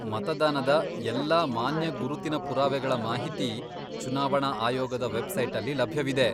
ಮತದಾನದ ಎಲ್ಲಾ ಮಾನ್ಯ ಗುರುತಿನ ಪುರಾವೆಗಳ ಮಾಹಿತಿ ಚುನಾವಣಾ ಆಯೋಗದ ವೆಬ್ಸೈಟಲ್ಲಿ ಲಭ್ಯವಿದೆ.